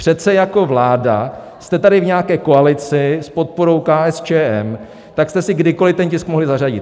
Přece jako vláda jste tady v nějaké koalici s podporou KSČM, tak jste si kdykoliv ten tisk mohli zařadit.